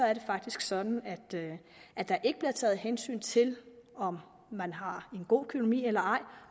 er det faktisk sådan at der ikke bliver taget hensyn til om man har en god økonomi eller ej